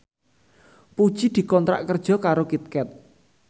Puji dikontrak kerja karo Kit Kat